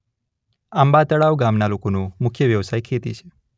આંબાતળાવ ગામના લોકોનો મુખ્ય વ્યવસાય ખેતી છે.